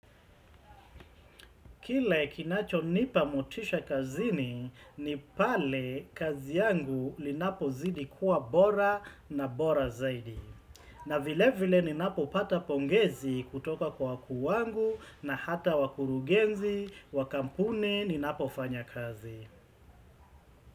Kile kinacho nipa motisha kazini ni pale kazi yangu linapo zidi kuwa bora na bora zaidi. Na vile vile ninapopata pongezi kutoka kwa wa kuu wangu na hata wakurugenzi, wakampuni ninapo fanya kazi.